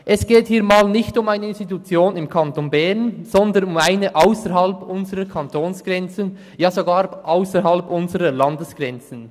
Es geht hier für einmal nicht um eine Institution im Kanton Bern, sondern um eine ausserhalb unserer Kantonsgrenzen, ja sogar ausserhalb unserer Landesgrenzen.